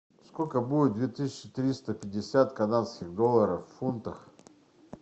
сколько будет две тысячи триста пятьдесят канадских долларов в фунтах